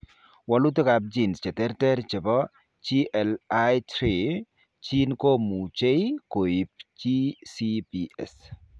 Walutik ab genes cheterter chebto GLI3 gene komuche koib GCPS